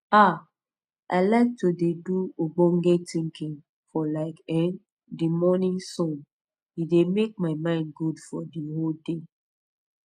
ah i like to de do ogbonge tinkin for like ern de mornin sun e dey make my mind good for de whole day